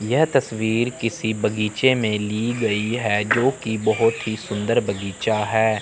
यह तस्वीर किसी बगीचे में ली गई है जोकी बोहोत ही सुंदर बगीचा है।